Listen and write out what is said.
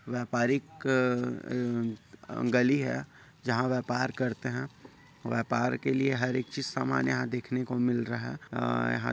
व्यापारिक अ अ गली है जहा व्यापार करते है। व्यपार के लिए हरेक चीज समान यहा देखने को मिल रहा है। अ यहा--